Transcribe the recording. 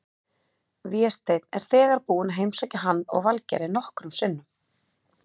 Vésteinn er þegar búinn að heimsækja hann og Valgerði nokkrum sinnum.